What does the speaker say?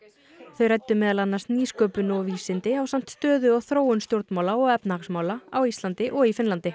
þau ræddu meðal annars nýsköpun og vísindi ásamt stöðu og þróun stjórnmála og efnahagsmála á Íslandi og í Finnlandi